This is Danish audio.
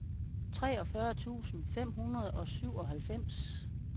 treogfyrre tusind fem hundrede og syvoghalvfems